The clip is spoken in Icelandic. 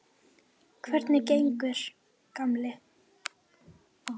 Hvernig gengur, gamli